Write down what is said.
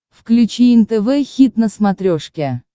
включи нтв хит на смотрешке